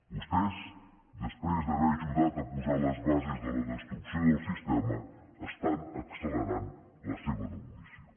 vostès després d’haver ajudat a posar les bases de la destrucció del sistema estan accelerant la seva demolició